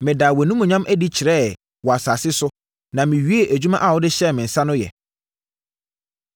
Medaa wʼanimuonyam adi kyerɛeɛ wɔ asase so na mewiee adwuma a wode hyɛɛ me nsa no yɛ.